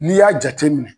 N'i y'a jateminɛ